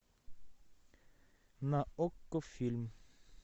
на окко фильм